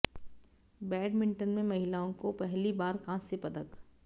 badminton में महिलाओं को पहली बार कांस्य पदक